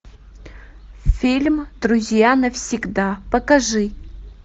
фильм друзья навсегда покажи